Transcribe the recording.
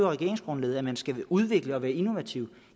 regeringsgrundlaget at man skal udvikle og være innovativ